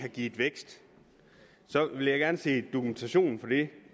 har givet vækst vil jeg gerne se dokumentation for det